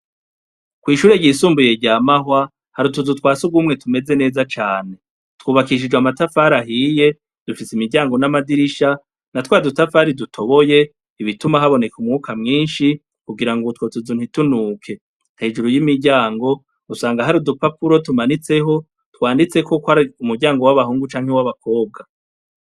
Kw'ishure ryisumbuye rya mahwa hariutuzu twasi ugumwe tumeze neza cane twubakishijwe amatafari ahiye dufise imiryango n'amadirisha na twa dutafari dutoboye ibituma haboneka umwuka mwinshi kugira ngo utwotezuntitunuke hejuru y'imiryango usanga hari udupakuro tumanitseho twanditsekokoa umuryango w'abahungu canke w'abakobwa.